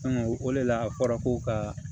o de la a fɔra ko ka